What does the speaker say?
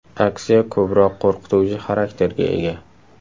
Aksiya ko‘proq qo‘rqituvchi xarakterga ega.